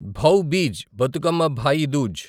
Bhau Beej Bathukamma Bhai Dooj